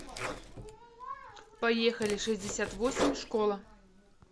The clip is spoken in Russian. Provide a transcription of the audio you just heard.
поехали шестьдесят восемь школа